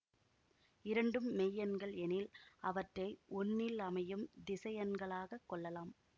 இரண்டும் மெய்யெண்கள் எனில் அவற்றை ஒன்னில் அமையும் திசையன்களாக கொள்ளலாம்